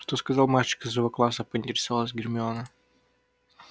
что сказал мальчик из его класса поинтересовалась гермиона